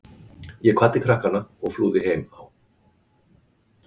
Ég kvaddi krakkana og flúði heim á